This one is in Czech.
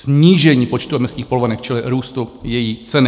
Snížení počtu emisních povolenek, čili růstu její ceny.